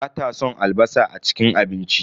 Bata son albasa a cikin abinci.